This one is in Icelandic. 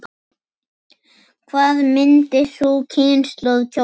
Hvað myndi sú kynslóð kjósa?